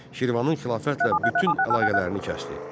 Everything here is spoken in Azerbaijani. Şirvanın xilafətlə bütün əlaqələrini kəsdi.